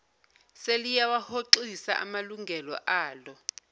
seliyawahoxisa amalungelo alo